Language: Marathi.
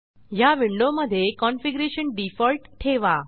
ह्या विंडोमधे कॉन्फिगरेशन डिफॉल्ट ठेवा